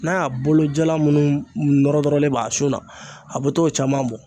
N'a y'a bolo jala munnu nɔrɔ nɔrɔlen b'a sun na a be t'o caman bɔ